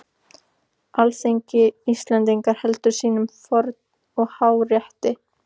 Alþingi Íslendinga heldur sínum forna og háa rétti!